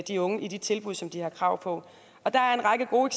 de unge i de tilbud som de har krav på og der er en række gode